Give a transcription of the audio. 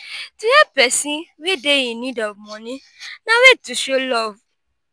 to help persin wey de in need of money na way to show love